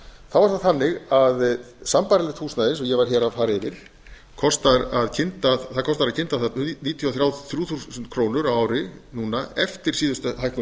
þá er það þannig að sambærilegt húsnæði eins og ég var hér að fara yfir kostar að kynda það níutíu og þrjú þúsund krónur á ári núna eftir síðustu hækkun